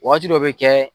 Wagati dɔ bɛ kɛ